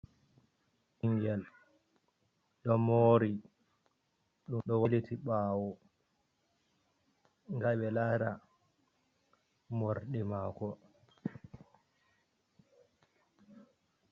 Ɓingel ɗo mori ɗum ɗo waliti ɓawo. Nda ɓe lara morɗi mako.